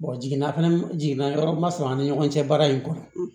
jiginna fɛnɛ jiginna yɔrɔ ma sɔrɔ an ni ɲɔgɔn cɛ baara in kɔnɔ